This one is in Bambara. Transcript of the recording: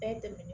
Bɛɛ tɛmɛnen